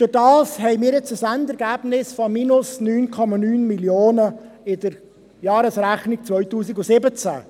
Dadurch haben wir jetzt ein Endergebnis von minus 9,9 Mio. Franken in der Jahresrechnung 2017.